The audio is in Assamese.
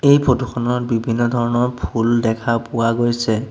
এই ফটো খনত বিভিন্ন ধৰণৰ ফুল দেখা পোৱা গৈছে।